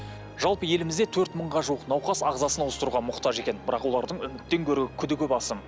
жалпы елімізде төрт мыңға жуық науқас ағзасын ауыстыруға мұқтаж екен бірақ олардың үміттен гөрі күдігі басым